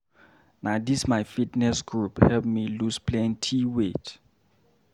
Na dis my fitness group help me loose plenty weight.